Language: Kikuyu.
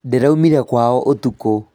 Ndĩraumire kwao ũtukũ